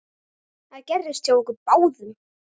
Það gerðist hjá okkur báðum.